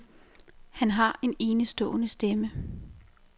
Han har en enestående stemme .